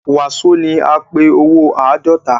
Waso ní a pé owó àádọ́ta.